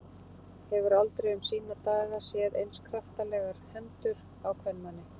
Hefur aldrei um sína daga séð eins kraftalegar hendur á kvenmanni.